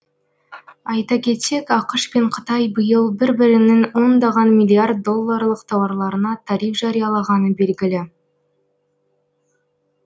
айта кетсек ақш пен қытай биыл бір бірінің ондаған миллиард долларлық тауарларына тариф жариялағаны белгілі